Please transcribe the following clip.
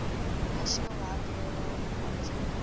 national liberal party